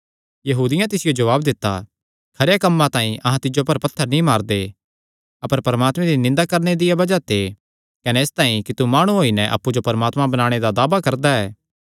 यहूदियां तिसियो जवाब दित्ता खरेयां कम्मां तांई अहां तिज्जो पर पत्थर नीं मारदे अपर परमात्मे दी निंदा करणे दिया बज़ाह ते कने इसतांई कि तू माणु होई नैं अप्पु जो परमात्मा बणाणे दा दावा करदा ऐ